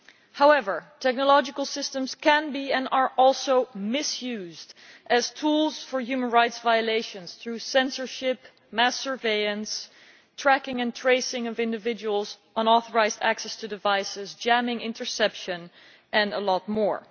However, technological systems can be and are also misused as tools for human rights violations through censorship, mass surveillance, tracking and tracing of individuals, unauthorised access to devices, jamming, interception and a lot more.